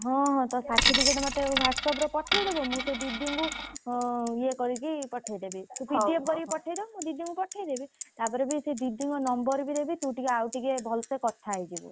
ହଁ ହଁ ତୋ certificate ମତେ WhatsApp ରେ ପଠେଇଦବୁ।